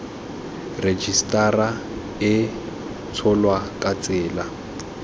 rejisetara e tsholwa ka tsela